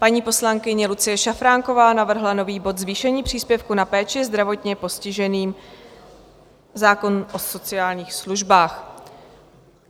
Paní poslankyně Lucie Šafránková navrhla nový bod Zvýšení příspěvku na péči zdravotně postiženým, zákon o sociálních službách.